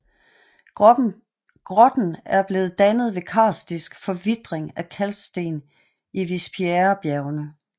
Grotten er blevet dannet ved karstisk forvitring af kalksten i Vispieresbjergene